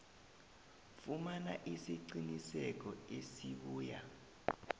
fumana isiqinisekiso esibuya